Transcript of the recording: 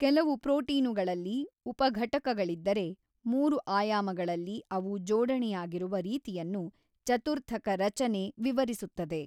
ಕೆಲವು ಪ್ರೋಟೀನುಗಳಲ್ಲಿ ಉಪಘಟಕಗಳಿದ್ದರೆ ಮೂರು ಆಯಾಮಗಳಲ್ಲಿ ಅವು ಜೋಡಣೆಯಾಗಿರುವ ರೀತಿಯನ್ನು ಚತುರ್ಥಕ ರಚನೆ ವಿವರಿಸುತ್ತದೆ.